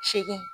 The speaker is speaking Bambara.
Segu